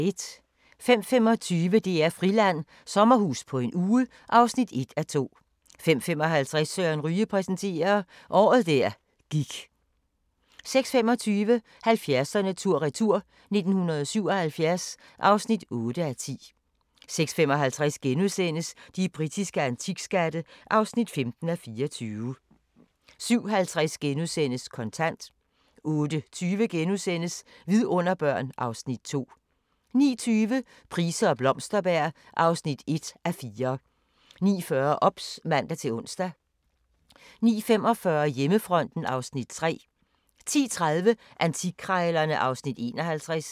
05:25: DR-Friland: Sommerhus på en uge (1:2) 05:55: Søren Ryge præsenterer – Året der gik 06:25: 70'erne tur-retur: 1977 (8:10) 06:55: De britiske antikskatte (15:24)* 07:50: Kontant * 08:20: Vidunderbørn (Afs. 2)* 09:20: Price og Blomsterberg (1:4) 09:40: OBS (man-ons) 09:45: Hjemmefronten (Afs. 3) 10:30: Antikkrejlerne (Afs. 51)